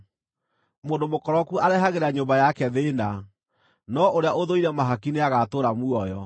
Mũndũ mũkoroku arehagĩra nyũmba yake thĩĩna, no ũrĩa ũthũire mahaki nĩagatũũra muoyo.